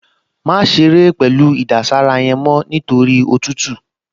Má ṣeré pẹ̀lú ìdására yẹn mọ́ nítorí òtútù!